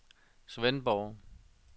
Svendborg